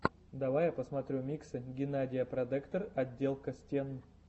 давай я посмотрю миксы геннадия продекор отделка стен